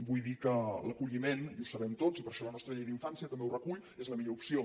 vull dir que l’acolliment i ho sabem tots i per això la nostra llei d’infància també ho recull és la millor opció